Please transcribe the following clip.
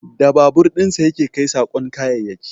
Da babur dinsa ya ke kai saƙon kayayyaki